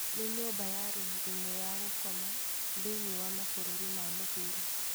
Nĩ nyũmba ya rumu ĩmwe ya gũkoma thĩini wa mabũruri ma mũhuro